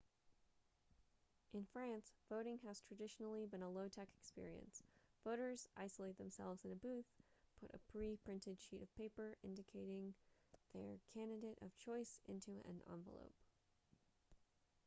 in france voting has traditionally been a low-tech experience voters isolate themselves in a booth put a pre-printed sheet of paper indicating their candidate of choice into an envelope